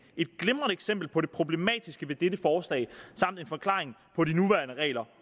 et glimrende eksempel på det problematiske ved dette forslag samt en forklaring på de nuværende regler